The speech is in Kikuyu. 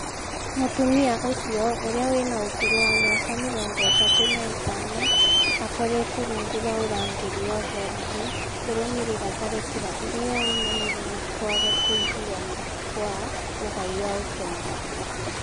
Mũtũmia ũcio ũrĩa wĩna ũkũrũ wa mĩaka mĩrongo ĩtatũ na ĩtano akoretwo rungu rwa ũrangĩri wa borithi kũrũmĩrĩra tharĩkĩra ĩrĩa yaũmanire na kwaga kũigũana kwa ũgai wa ũtonga